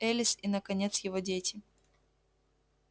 элис и наконец его дети